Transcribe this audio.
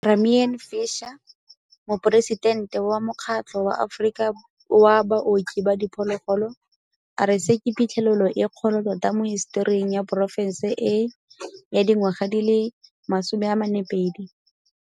Tamarin Fisher, Moporesitente wa Mokgatlo wa Aforika wa Baoki ba Diphologolo, a re se ke phitlhelelo e kgolo tota mo hisetoring ya porofešene e ya dingwaga tse 42.